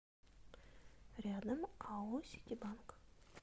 рядом ао ситибанк